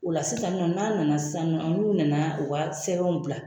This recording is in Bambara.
O la sisan nɔ, n'an nana sisan , ɔn n'u nana u ka sɛbɛnw bila